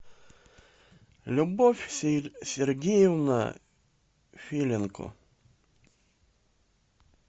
любовь сергеевна филенко